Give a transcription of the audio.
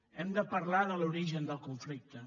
hem de parlar de l’origen del conflicte